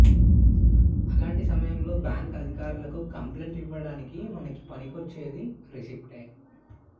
అలాంటి సమయంలో బ్యాంక్ అధికారులకు కంప్లైంట్ ఇవ్వడానికి మనకి పనికొచ్చేది రిసిప్ట్ ఏ